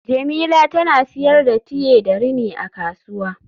Jemila tana siyar da tiye da rini a kasuwa